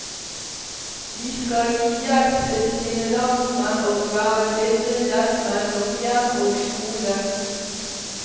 De skal gi hjelp til sine landsmenn og være bindeledd mellom hjem og skole.